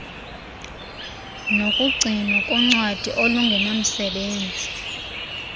nokugcinwa koncwadi olungenamsebenzi